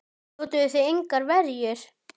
Notuðuð þið engar verjur?